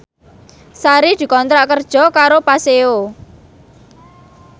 Sari dikontrak kerja karo Paseo